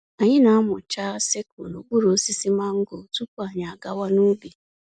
Anyị na-amụcha sickle n'okpuru osisi mango tupu anyị àgawà n'ubi.